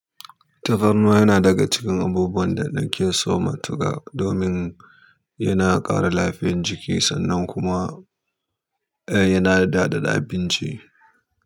Tafarnuwa yana daga cikin abubuwan da nake so matuka domin yana ƙara lafiyar jiki sannan kuma yana daɗaɗa abinci.